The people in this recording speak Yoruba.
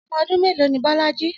Ọmọ ọdún mélòó ni Bolaji?